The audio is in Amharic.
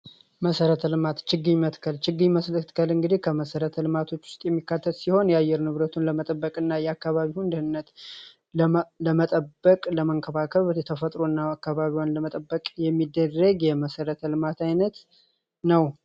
መሠረተ ልማት ችግኝ በመትከል ችግኝ መትከልን እንግዲህ ከመሠረተ ልማቶች ውስጥ የሚካተት ሲሆን፤ የአየር ንብረቱን ለመጠበቅ እና የአካባቢውን ደህንነት ለመጠበቅ ለመንከባከብ ተፈጥሮ እና አካባቢውን ለመጠበቅ የሚደረግ የመሠረተ ልማት ዓይነት ነው።